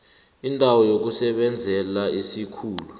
indawo yokusebenzela isikhulu